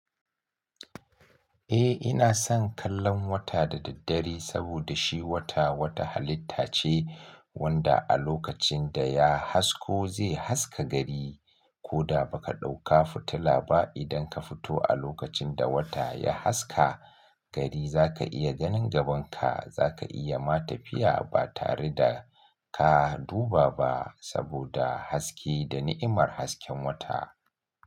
Eh ina son kallon wata da daddare saboda shi wata wata halitta ce wanda a lokacin da ya hasko zai haska gari. Ko da ba ka ɗauka fitila ba idan ka fito a lokacin da wata ya haska gari za ka iya ganin gaban ka. Za ka iya ma tafiya ba tare da ka duba ba saboda haske da ni'imar hasken wata.